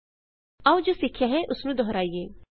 ਆਓ ਜੋ ਸਿੱਖਿਆ ਹੈ ਉਸ ਨੂੰ ਦੁਹਰਾਈਏ